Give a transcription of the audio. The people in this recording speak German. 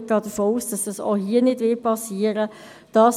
Ich gehe davon aus, dass es auch hier nicht geschehen wird.